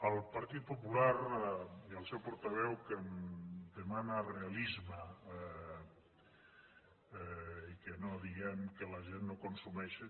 el partit popular i el seu portaveu que em demanen realisme i que no diguem que la gent consumeixi